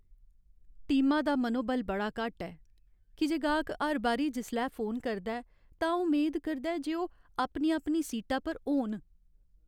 टीमा दा मनोबल बड़ा घट्ट ऐ की जे गाह्क हर बारी जिसलै फोन करदा ऐ तां ओह् मेद करदा ऐ जे ओह् अपनी अपनी सीटा पर होन।